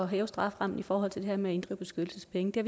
hæve strafferammen i forhold til det her med at inddrive beskyttelsespenge det